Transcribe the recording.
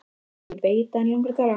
Ég veit að hana langar að tala.